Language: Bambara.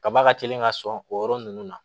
Kaba ka teli ka sɔn o yɔrɔ ninnu na